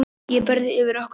Ég breiði yfir okkur bæði.